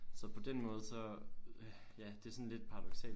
Så på den måde så ja det er sådan lidt paradoksalt